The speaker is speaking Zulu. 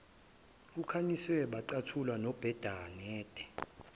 kukhanyiswe bacathula nobenade